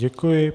Děkuji.